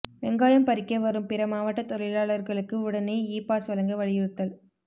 வெங்காயம் பறிக்க வரும் பிற மாவட்ட தொழிலாளர்களுக்கு உடனே இ பாஸ் வழங்க வலியுறுத்தல்